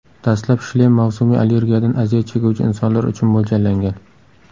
Dastlab shlem mavsumiy allergiyadan aziyat chekuvchi insonlar uchun mo‘ljallangan.